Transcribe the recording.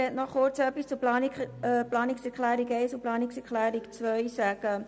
Ich möchte kurz etwas zu den Planungserklärungen 1 und 2 sagen.